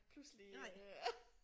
Pludselige